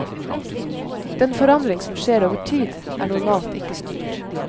Den forandring som skjer over tid, er normalt ikke styrt.